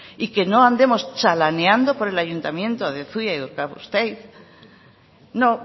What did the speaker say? y que no andemos chalaneando por el ayuntamiento de zuia y de urkabustaiz no